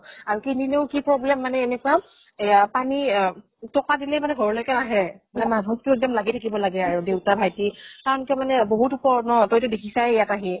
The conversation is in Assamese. আৰু কিনিলেও কি problem মানে এনেকুৱা এয়া পানী আহ টকে দিলেই মানে ঘৰলৈকে নাহে । মানুহ টো এক্দম লাগি থাকিব লাগে আৰু দেউতা ভাইটি টো মানে বহুত উপৰত ন, তই টো দেখিছাই ইয়াত আহি।